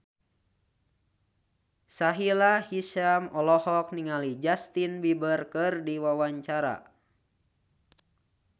Sahila Hisyam olohok ningali Justin Beiber keur diwawancara